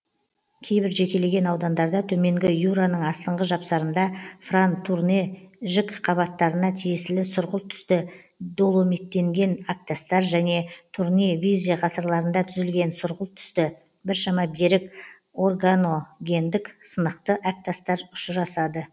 кейбір жекелеген аудандарда төменгі юраның астыңғы жапсарында фран турне жікқабаттарына тиесілі сұрғылт түсті доломиттенген әктастар және турне визе ғасырларында түзілген сұрғылт түсті біршама берік органогендік сынықты әктастар ұшырасады